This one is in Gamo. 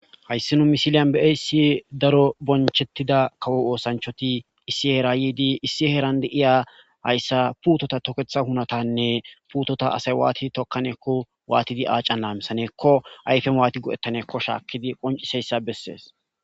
hayssi nu misiliyan be7ayssi daro bonchettida kawo oosanchoti issi heera yiidi issi heeran de'iya hayssa puutota toketha hunatanne puutota asay waatid tokkaneekko waatidi aacan laamisaneekko ayfe waati go7ettaneekko shaakkidi qonciseyssa bessees